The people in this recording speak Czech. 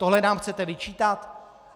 Tohle nám chcete vyčítat?